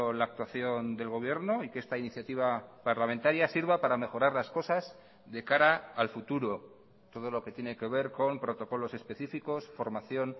la actuación del gobierno y que esta iniciativa parlamentaria sirva para mejorar las cosas de cara al futuro todo lo que tiene que ver con protocolos específicos formación